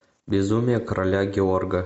безумие короля георга